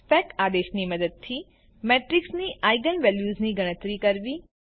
spec આદેશની મદદથી મેટ્રિક્સની આઇજેન વેલ્યુઝની ગણતરી કરવી